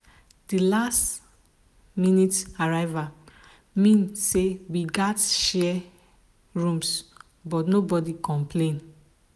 the last-minute arrival mean say we gatz share rooms but nobody complain.